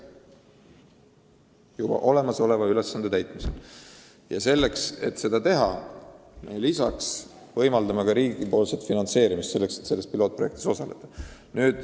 Ja et see võimalik oleks, me pakume lisaks ka riigipoolset finantseerimist selleks, et pilootprojektis osaleda.